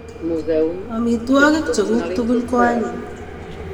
Amitwogik che kuk tugul ko anyiny